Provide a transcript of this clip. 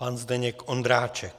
Pan Zdeněk Ondráček.